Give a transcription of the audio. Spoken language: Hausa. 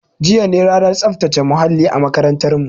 Jiya ne ranar tsaftace muhalli a makarantarmu